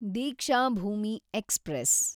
Deekshabhoomi express